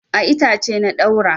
A itace na ɗaura.